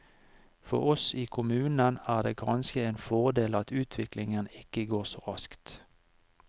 For oss i kommunen er det kanskje en fordel at utviklingen ikke går så raskt.